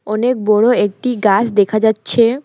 অনেক বড়ো একটি গাছ দেখা যাচ্ছে।